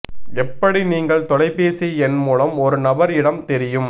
எப்படி நீங்கள் தொலைபேசி எண் மூலம் ஒரு நபர் இடம் தெரியும்